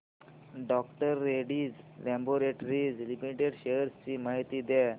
डॉ Reddy's laboratories limited shares ची माहिती द्या